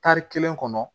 Tari kelen kɔnɔ